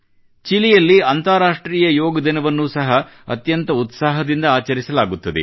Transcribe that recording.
ಚಿಲಿಯಲ್ಲಿ ಅಂತಾರಾಷ್ಟ್ರೀಯ ಯೋಗ ದಿನವನ್ನು ಸಹ ಅತ್ಯಂತ ಉತ್ಸಾಹದಿಂದ ಆಚರಿಸಲಾಗುತ್ತದೆ